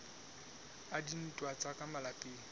a dintwa tsa ka malapeng